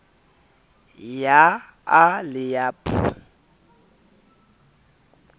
ya a le ya b